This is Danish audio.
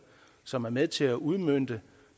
som er med til at udmønte